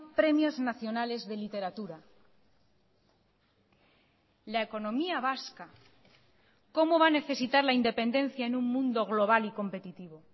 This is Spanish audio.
premios nacionales de literatura la economía vasca cómo va a necesitar la independencia en un mundo global y competitivo